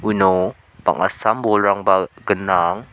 uno bang·a sam bolrangba gnang.